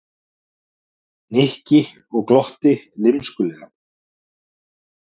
Nikki og glotti lymskulega.